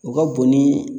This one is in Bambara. U ka bon ni